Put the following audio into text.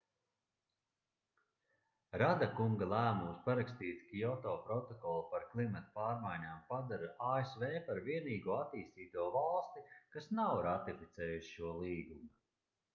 rada kunga lēmums parakstīt kioto protokolu par klimata pārmaiņām padara asv par vienīgo attīstīto valsti kas nav ratificējusi šo līgumu